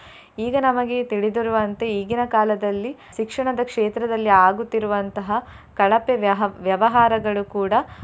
ಈಗ ನಮಗೆ ತಿಳಿದಿರುವಂತೆ ಈಗಿನ ಕಾಲದಲ್ಲಿ ಶಿಕ್ಷಣದ ಕ್ಷೇತ್ರದಲ್ಲಿ ಆಗುತ್ತಿರುವಂತಹ ಕಳಪೆ ವ್ಯಹ~ ವ್ಯವಹಾರಗಳು ಕೂಡಾ.